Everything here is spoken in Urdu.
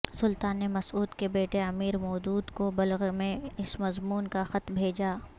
سلطان نے مسعود کے بیٹے امیر مودود کو بلغ میں اس مضمون کا خط بھیجا